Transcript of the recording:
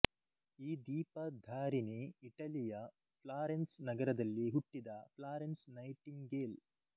ಈ ದೀಪ ಧಾರಿಣಿ ಇಟಲಿಯ ಫ್ಲಾರೆನ್ಸ್ ನಗರದಲ್ಲಿ ಹುಟ್ಟಿದ ಪ್ಲಾರೆನ್ಸ್ ನೈಟಿಂಗೇಲ್